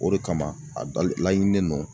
O de kama a dɔ laɲini don